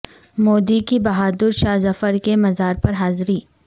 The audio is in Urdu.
مودی کی بہادر شاہ ظفرکے مزار پر حاضری